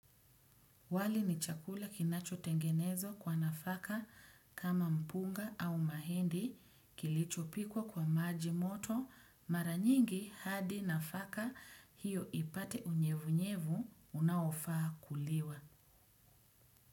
Wali, ni chakula kinachotengenezwa kwa nafaka, kama mpunga au mahindi kilichopikwa kwa maji moto, mara nyingi, hadi nafaka, hiyo, ipate unyevunyevu unaofaa kuliwa.